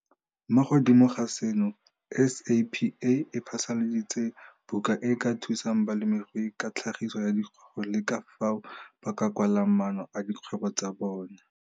Mo godimo ga seno, SAPA e phasaladitse buka e e ka thusang balemirui ka tlhagiso ya dikgogo le ka fao ba ka kwalang maano a dikgwebo tsa bona.